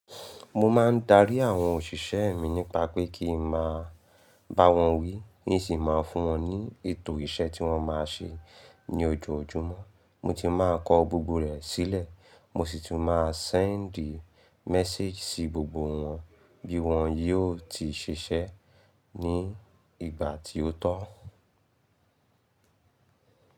Mo máa ń darí àwọn òṣìṣẹ́ mi nípa pé kí n máa bá wọn wí, ní sì máa fún wọn ní ètò iṣẹ́ tí wọ́n máa ṣe ní ojoojúmọ́. Mo ti máa kọ gbogbo rẹ̀ sílẹ̀, mo sì ti máa send message sí gbogbo wọn bí wọn yóò ti ṣiṣẹ́ ní ìgbà tí ó tọ́.